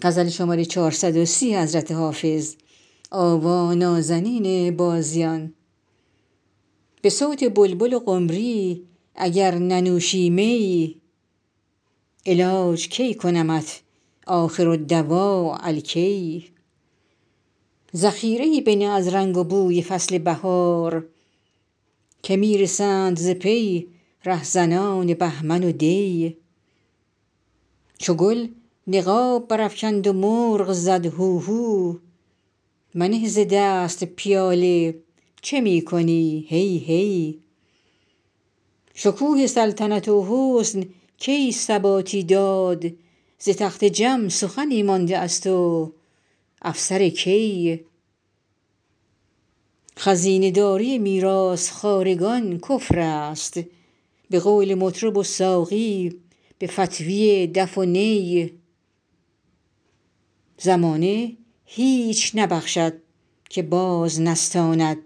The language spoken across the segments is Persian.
به صوت بلبل و قمری اگر ننوشی می علاج کی کنمت آخرالدواء الکی ذخیره ای بنه از رنگ و بوی فصل بهار که می رسند ز پی رهزنان بهمن و دی چو گل نقاب برافکند و مرغ زد هوهو منه ز دست پیاله چه می کنی هی هی شکوه سلطنت و حسن کی ثباتی داد ز تخت جم سخنی مانده است و افسر کی خزینه داری میراث خوارگان کفر است به قول مطرب و ساقی به فتویٰ دف و نی زمانه هیچ نبخشد که باز نستاند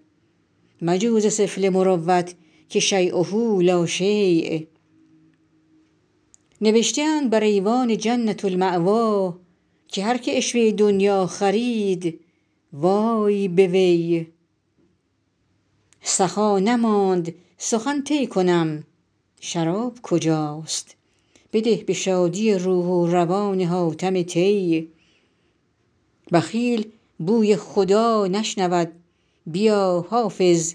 مجو ز سفله مروت که شییه لا شی نوشته اند بر ایوان جنة الماویٰ که هر که عشوه دنییٰ خرید وای به وی سخا نماند سخن طی کنم شراب کجاست بده به شادی روح و روان حاتم طی بخیل بوی خدا نشنود بیا حافظ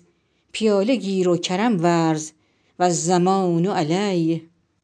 پیاله گیر و کرم ورز و الضمان علی